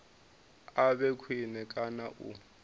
a vhe khwine kana u